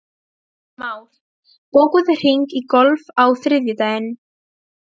Már, bókaðu hring í golf á þriðjudaginn.